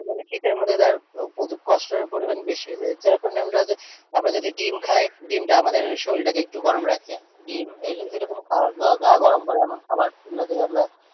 মানে শীতের মধ্যে তার কষ্টের পরিমাণ বেশি হয়ে যায়। যখন আমরা আমরা যদি ডিম খাই ডিমটা আমাদের শরীরটাকে একটু গরম রাখে। ডিম এরকম খাওয়ার বা গা গরম করে এমন খাওয়ার রোজের আমরা,